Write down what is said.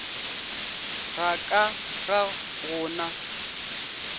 ga ka ga go na